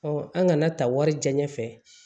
an ŋana ta warijɛ fɛ